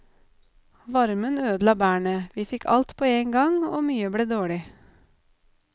Varmen ødela bærene, vi fikk alt på en gang, og mye ble dårlig.